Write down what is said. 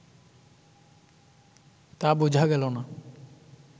তা বোঝা গেল না